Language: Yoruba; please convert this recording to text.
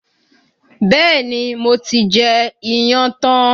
Bẹ́ẹ̀ni, mo ti jẹ iyán tán